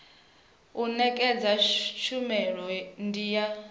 u nekedza tshumelo ndi ya